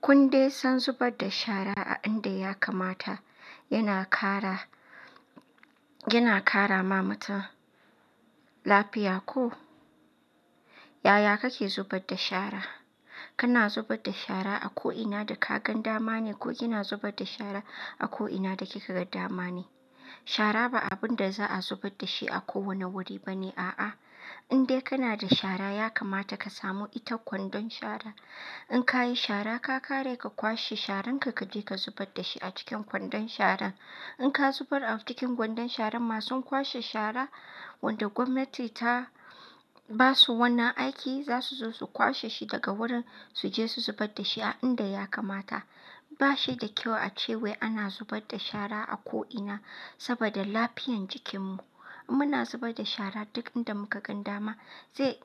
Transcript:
Kun dai san zubar da shara a inda ya kamata yana ƙara ma mutum lafiya ko? Yaya kake zubar da shara? Kana zubar da shara a ko'ina da ka gan dama ne ko kina zubar da shara a ko'ina da kikaga dama ne? Shara ba abun da za'a zubar da shi a kowane wuri ba ne a'a. In dai kana da shara ya kamata ka samu itan kwandon shara. In ka yi shara ka kare ka kwashe sharan ka, ka je ka zubar da shi a cikin kwandon shara. In ka zubar a cikin kwandon sharan masu kwashe shara wanda gwamnati ta ba su wannan aiki, za su zo su kwashe shi daga wurin su je su zubar da shi a inda ya kamata. Ba shi da kyau a ce wai ana zubar da shara a ko'ina saboda lafiyan jikinmu. Muna zubar da shara duk inda muka gan dama zai